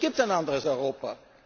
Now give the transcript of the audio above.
Aber es gibt ein anderes Europa!